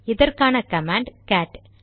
இதற்கான command gate